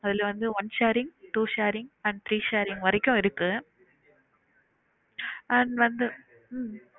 ஆதுல வந்து one sharing, two sharing and three sharing வரைக்கு இருக்கு and வந்து உம்